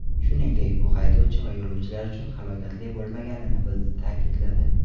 Shuningdek, bu haydovchi va yo‘lovchilar uchun halokatli bo‘lmaganini ta’kidladi.